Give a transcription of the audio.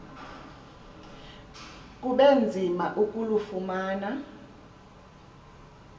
kube nzima ukulufumana